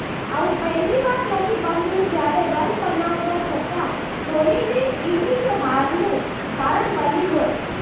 આવું પહેલીવાર નથી બન્યુ જ્યારે રન બનાવવા છતાં ધોનીની ઇનિંગ હારનું કારણ બની હોય